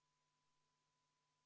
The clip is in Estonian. Saame minna 40. muudatusettepaneku juurde.